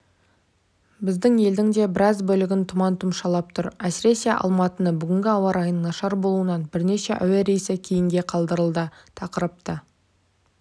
біздің елдің де біраз бөлігін тұман тұмшалап тұр әсіресе алматыны бүгін ауа райының нашар болуынан бірнеше әуе рейсі кейінге қалдырылды тақырыпты